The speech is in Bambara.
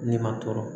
Ne ma tɔɔrɔ